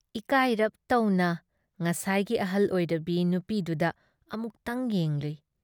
ꯏꯀꯥꯏꯔꯞ ꯇꯧꯅ ꯉꯁꯥꯢꯒꯤ ꯑꯍꯜ ꯑꯣꯏꯔꯕꯤ ꯅꯨꯄꯤꯗꯨꯗ ꯑꯃꯨꯛꯇꯪ ꯌꯦꯡꯂꯨꯏ ꯫